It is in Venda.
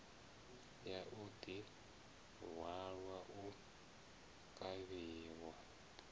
ya u ḓihwala u kavhiwa